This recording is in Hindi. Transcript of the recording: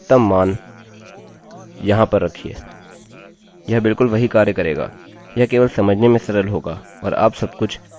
यह बिलकुल वही कार्य करेगा यह केवल समझने में सरल होगा और आप सबकुछ यहाँ पर घोषित कर सकते हैं और यह इसको निर्देश करेगा